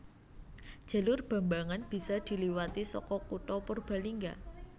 Jalur Bambangan bisa diliwati saka kutha Purbalingga